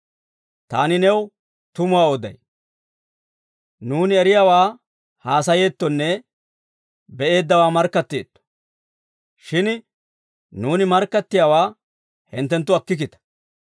Taani new tumuwaa oday; nuuni eriyaawaa haasayeettonne be'eeddawaa markkatteetto; shin nuuni markkattiyaawaa hinttenttu akkikkita.